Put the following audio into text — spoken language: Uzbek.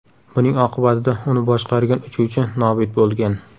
Buning oqibatida uni boshqargan uchuvchi nobud bo‘lgan.